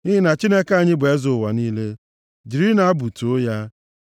Nʼihi na Chineke anyị bụ eze ụwa niile. Jirinụ abụ too ya.